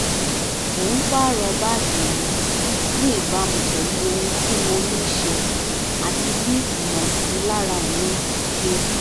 mo ń pààrọ̀ báàgì mi ní ìbámu pẹ̀lú ohun tí mo ní ṣe àti bí ìmọ̀sílára mi ṣe rí